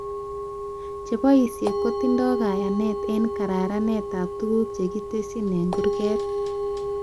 Cheboishee kotindoi kayanet eng kararanetab tuguk chekitesyi eng kurget